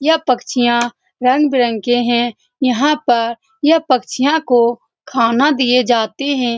यह पक्षियां रंग-बिरंग के है यहाँ पर ये पक्षियों को खाना दिए जाते है।